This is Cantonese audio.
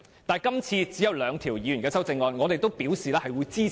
但是，今次只有兩項議員修正案，而我們亦已表示支持。